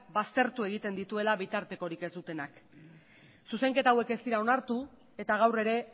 baztertu egiten dituela bitartekorik ez dutenak zuzenketa hauek ez dira onartu eta gaur ere